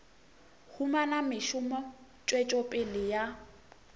humana mešomo tswetšo pele ya